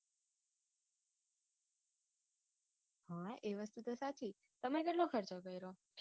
હા એ વાત તો સાચી તમે કેટલો ખર્ચો કર્યો